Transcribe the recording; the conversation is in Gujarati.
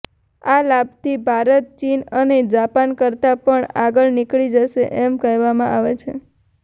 આ લાભથી ભારત ચીન અને જપાન કરતાં પણ આગળ નીકળી જશે એમ કહેવામાં આવે છે